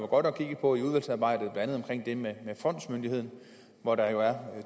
godt at kigge på i udvalgsarbejdet blandt andet omkring det med fondsmyndigheden hvor der jo er